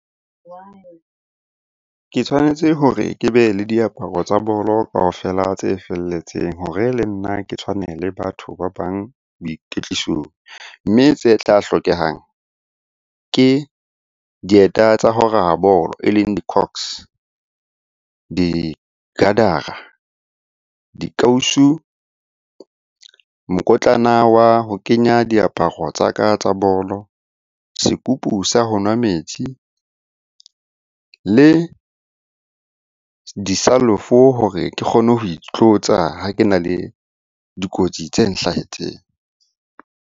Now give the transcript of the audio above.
Ke tshwanetse hore ke be le diaparo tsa bolo kaofela tse felletseng hore le nna ke tshwane le batho ba bang boikwetlisong. Mme tse tla hlokehang ke dieta tsa ho raya bolo e leng di , di , dikausu, mokotlana wa ho kenya diaparo tsa ka tsa bolo, sekupu sa ho nwa metsi, le di hore ke kgone ho itlotsa ha ke na le dikotsi tse nhlahetseng.